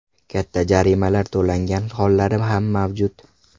Katta jarimalar to‘langan hollari ham mavjud.